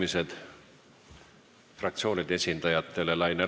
Avan fraktsioonide esindajate läbirääkimised.